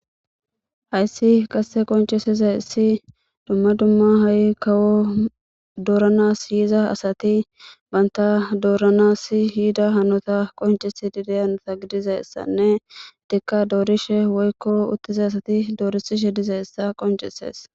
hayssi qasse qoncesizay ssi dumma dumma ha7i kawo dooranas yiza asati banta dooranas hiida hanota qoncesi dideyanota gidizayssanne dikka doorishe woykko uttiza asati doorisishe diza issa qoncesees